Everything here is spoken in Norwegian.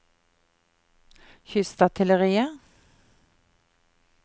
kystartilleriet